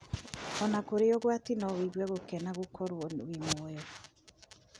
Ona kũrĩ ũgwati no wĩgue gũkena gũkorwo wĩ muoyo.